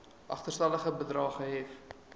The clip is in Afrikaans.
agterstallige bedrae gehef